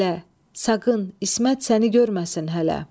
Sakın, İsmet səni görməsin hələ.